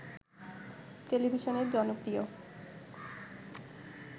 টেলিভিশনের জনপ্রিয়